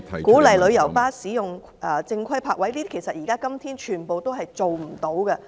鼓勵旅遊巴士使用正規泊位，這些今天全部也做不到。